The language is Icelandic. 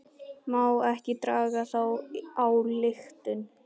Má ekki draga þá ályktun?